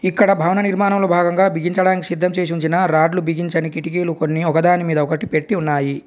ఇక్కడ భవన నిర్మాణంలో భాగంగా బిగించడానికి సిద్ధం చేసి ఉంచిన రాడ్లు బిగించనికి కిటికీలు కొన్ని ఒకదాని మీద ఒకటి పెట్టి ఉన్నాయి.